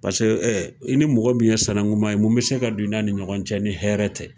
Paseke ɛɛ, i ni mɔgɔ mun ye sanakunman ye mun bɛ se ka don i n'a ni ɲɔgɔn cɛ ni hɛrɛ tɛ.